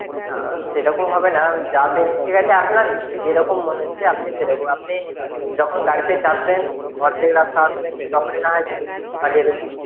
না সেইরকম হবে না যাবে ঠিক আছে আপনার যেরকম মনে হচ্ছে আপনি সেইরকম আপনি যখন গাড়িতে চাপবেন অর্ধেক রাস্তা আসবেন তখনই না হয় পাঠিয়ে দেবেন.